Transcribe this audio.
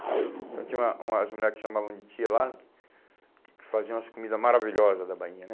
Então tinha uma umas mulheres que chamavam de tia lá, que faziam as comidas maravilhosas da Bahia, né?